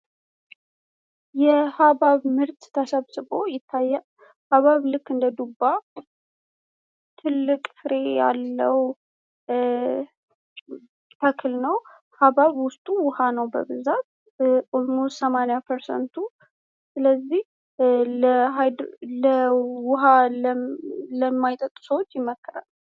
የሃብሃብ ምርት ተሰብስቦ ይታያል ። ሃብሃብ ልክ እንደ ዱባ ትልቅ ፍሬ ያለው ሲሆን ሰማኒያ ፐርሰንት የሚሆነው ውሃ ነው። በዚህም ምክንያት ውሃ ለማይጣጡ ሰዎች እንዲመገቡት ይመከራል።